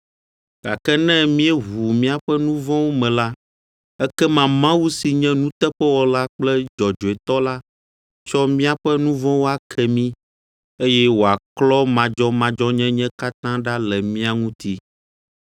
Gake ne míeʋu míaƒe nu vɔ̃wo me la, ekema Mawu si nye nuteƒewɔla kple dzɔdzɔetɔ la atsɔ míaƒe nu vɔ̃wo ake mí, eye wòaklɔ madzɔmadzɔnyenye katã ɖa le mía ŋuti.